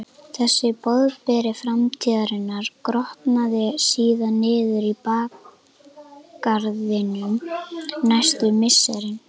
Þessi boðberi framtíðarinnar grotnaði síðan niður í bakgarðinum næstu misserin.